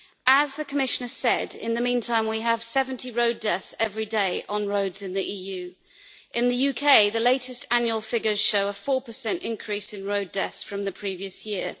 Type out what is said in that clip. As the Commissioner said, in the meantime we have 70 road deaths every day on roads in the EU. In the UK, the latest annual figures show a 4 increase in road deaths from the previous year.